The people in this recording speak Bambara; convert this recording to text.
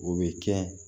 O bɛ kɛ